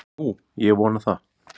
Nú, ég vona það.